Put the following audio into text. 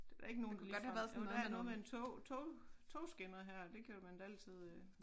Det da ikke nogle du lige sådan jo der er noget med en tå tog togskinner her det kan man da altid øh